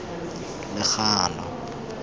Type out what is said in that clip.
legano